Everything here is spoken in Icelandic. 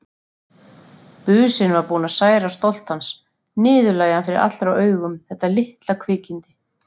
Businn var búinn að særa stolt hans, niðurlægja hann fyrir allra augum, þetta litla kvikindi.